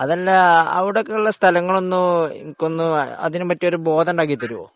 ആഹ് അവിടെയുള്ള സ്ഥലങ്ങൾ ഒന്നു എനിക്കൊന്ന് അതിനെപ്പറ്റി എനിക്കൊന്നു ബോധം ഉണ്ടാക്കിത്തരുമോ